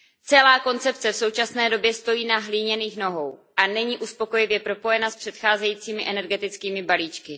Celá koncepce v současné době stojí na hliněných nohou a není uspokojivě propojena s předcházejícími energetickými balíčky.